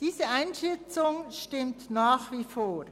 » Diese Einschätzung stimmt nach wie vor.